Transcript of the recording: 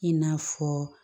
I n'a fɔ